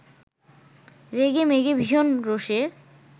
রেগেমেগে ভীষণ রোষে